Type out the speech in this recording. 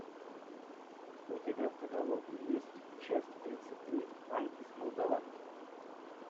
у тебя в каталоге есть часть тридцать три анки с молдаванки